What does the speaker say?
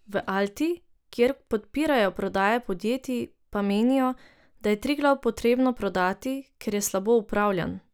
V Alti, kjer podpirajo prodaje podjetij, pa menijo, da je Triglav potrebno prodati, ker je slabo upravljan.